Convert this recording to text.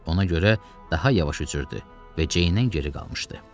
Ona görə daha yavaş üzürdü və Ceyndən geri qalmışdı.